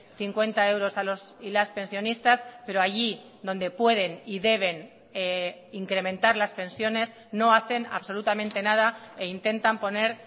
cincuenta euros a los y las pensionistas pero allí donde pueden y deben incrementar las pensiones no hacen absolutamente nada e intentan poner